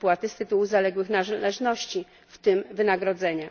wypłaty z tytułu zaległych należności, w tym wynagrodzenia.